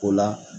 O la